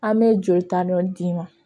An bɛ jolita dɔ d'i ma